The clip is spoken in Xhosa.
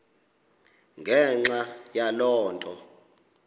ngenxa yaloo nto